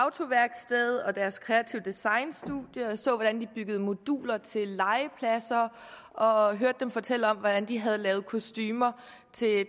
autoværksted og deres kreative designstudie så hvordan de byggede moduler til legepladser og hørte dem fortælle om hvordan de havde lavet kostumer